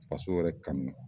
Faso yɛrɛ kanu